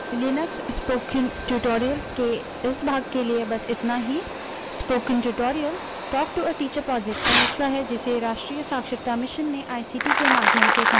Linux spoken tutorial के इस भाग के लिए बस इतना ही spoken tutorial talk to a teacher project का हिस्सा है जिसे राष्ट्रीय साक्षरता mission ने ict के माध्यम से समर्थित किया है